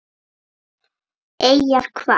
Eyjar hvað?